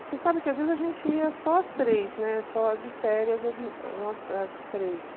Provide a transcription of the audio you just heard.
Você sabe que às vezes a gente ia só as três, né, só de férias as três.